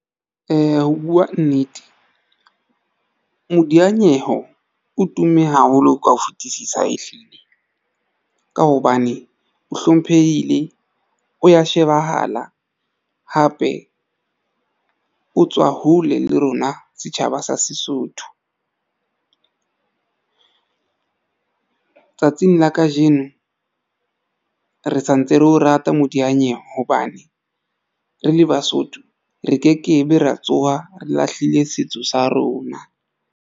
Ho buwa nnete, modiyanyeho o tumme haholo ka ho fetisisa ehlile ka hobane o hlomphehile, o ya shebahala hape o tswa hole le rona setjhaba sa Sesotho tsatsing la kajeno re santse re o rata modiyanyewe hobane re le Basotho re ke ke be ra tsoha re lahlile setso sa rona.